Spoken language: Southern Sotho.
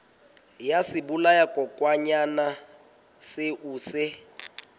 ya sebolayakokwanyana seo o se